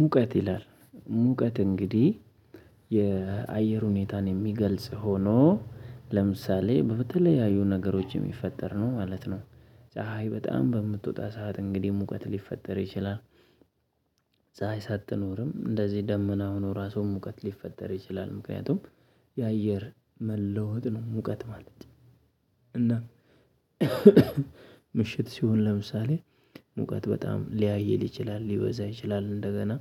ሙቀት ይላል ሙቀት እንግዲህ የአየር ሁኔታን የሚገልጽ ሆኖ ለምሳሌ በተለያዩ ነገሮች ሚፈጠር ነው ማለት ነው። ፀሀይ በጣም በምትወጣ ሰዓት እንግዲህ ሙቀት ሊፈጠር ይችላል። ፀሀይ ሳትኖርም እንደዚህ ደመና ሆኖ ራሱን ሙቀት ሊፈጠር ይችላል ምክንያቱም የአየር መለወጥ ነው ሙቀት ማለት ነው። እና ምሽት ሲሆን ለምሳሌ ሙቀት በጣም ሊያይል ይችላል ሊበዛ ይችላል እንደገና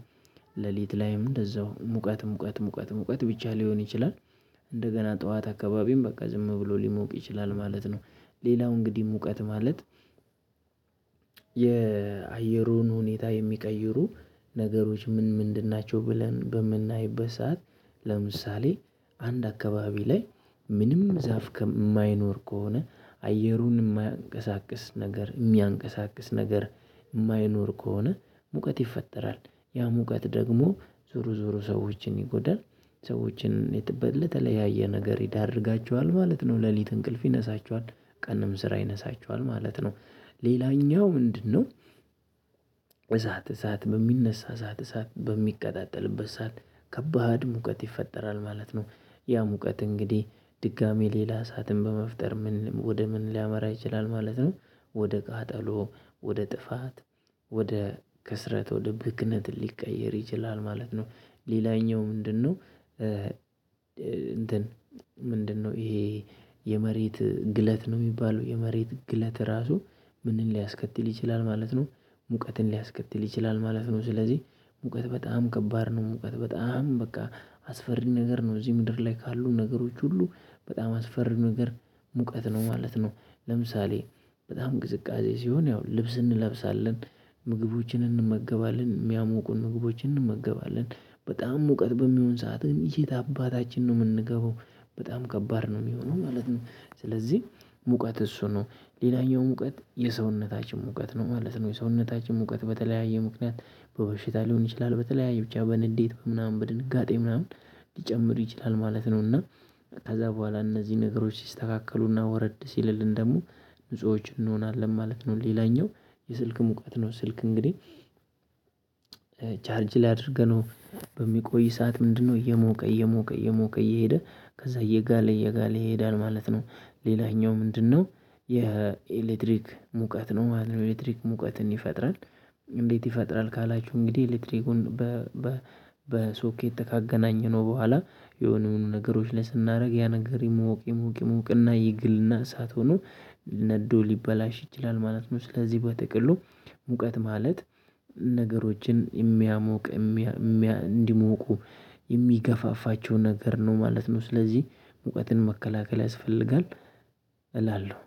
ሌሊት ላይም እንደዛው ሙቀት ሙቀት ሙቀት ሙቀት ብቻ ሊሆን ይችላል። እንደገና ጠዋት አካባቢም በቃ ዝም ብሎ ሊሞቅ ይችላል ማለት ነው። ሌላው እንግዲህ ሙቀት ማለት የአየሩን ሁኔታ የሚቀይሩ ነገሮች ምን ምንድን ናቸው? ብለን በምናይበት ሰዓት ለምሳሌ አንድ አካባቢ ላይ ምንም ዛፍ ከማይኖር ከሆነ አየሩን ማያንቀሳቅስ ነገር የሚያንቀሳቅስ ነገር የማይኖር ከሆነ ሙቀት ይፈጠራል። ያ ሙቀት ደግሞ ዙሮ ዙሮ ሰዎችን ይጎዳል። ሰዎችን ለተለያየ ነገር ይዳርጋቸዋል ማለት ነው። ሌሊት እንቅልፍ ይነሳቸዋል ቀንም ስራ ይነሳቸዋል ማለት ነው። ሌላኛው ምንድነው? እሳት እሳት በሚነሳ እሳት እሳት በሚቀጣጠልበት እሳት ከባድ ሙቀት ይፈጠራል ማለት ነው። ያ ሙቀት እንግዲህ ድጋሚ ሌላ እሳትን በመፍጠር ምን ወደ ምን ሊያመራ ይችላል ማለት ነው። ወደ ጋጠሎ ወደ ጥፋት ወደ ክስረት ድርቅነት ሊቀየር ይችላል ማለት ነው። ሌላኛው ምንድነው? እንትን ምንድነው ይሄ የመሬት ግለት ነው ሚባለው የመሬት ግለት ራሱ ምንን ሊያስከትል ይችላል ማለት ነው። ሙቀትን ሊያስከትል ይችላል ማለት ነው ስለዚህ ሙቀት በጣም ከባድ ነው። ሙቀት በጣም በቃ አስፈሪ ነገር ነው እዚህ ምድር ላይ ካሉ ነገሮች ሁሉ በጣም አስፈሪ ነገር ሙቀት ነው ማለት ነው። ለምሳሌ በጣም ቅዝቃዜ ሲሆን ያው ልብስ እንለብሳለን ምግቦችን እንመገባለን ሚያሞቁን ምግቦችን እንመገባለን በጣም ሙቀት በሚሆን ሰዓት ግን ከየት አባታችን ነው የምንገባው? በጣም ከባድ ነው የሚሆነው ማለት ነው። ስለዚህ ሙቀት እሱ ነው ሌላኛው ሙቀት የሰውነታችን ሙቀት ነው ማለት ነው። የሰውነታችን ሙቀት በተለያየ ምክንያት በበሽታ ሊሆን ይችላል በተለያየ ብቻ በንዴት ምናምን በድንጋጤ ምናምን ሊጨምር ይችላል ማለት ነው። እና ከዛ በኋላ እነዚህ ነገሮች ሲስተካከሉና ወረድ ሲልልን ደግሞ ንጹሆች እንሆናለን ማለት ነው። ሌላኛው የስልክ ሙቀት ነው። ስልክ እንግዲህ ቻርጅ ላይ አድርገነው በሚቆይ ሰዓት ምንድነው? እየሞቀ እየሞቀ እየሞቀ እየሄደ ከዛ እየጋለ እየጋለ ይሄዳል ማለት ነው። ሌላኛው ምንድነው? የኤሌክትሪክ ሙቀት ነው ማለት ነው። ኤሌክትሪክ ሙቀትን ይፈጥራል። እንዴት ይፈጥራል? ካላችሁኝ እንግዲህ ኤሌክትሪኩን በሶኬት ካገናኘነው በኋላ የሆነ የሆኑ ነገሮች ላይ ስናደርግ ያነገር ይሞቅ ይሞቅ ይሞቅ እና ይግልና እሳት ሆኖ ነዶ ሊበላሽ ይችላል ማለት ነው። ስለዚህ በጥቅሉ ሙቀት ማለት ነገሮችን የሚያሞቅ እንዲሞቁ የሚገፋፋቸው ነገር ነው ማለት ነው። ስለዚህ ሙቀትን መከላከል ያስፈልጋል እላለሁ።